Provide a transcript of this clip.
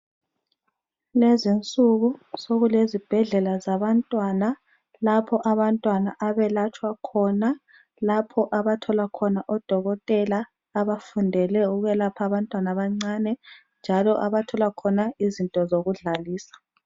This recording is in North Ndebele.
Lezi insuku sokulezibhedlela zabantwana lapho abantwana abelatshwa khona , lapho abathola khona odokotela abafundele ukwelapha abantwana abancane njalo abathola khona izinto zokudlalisa.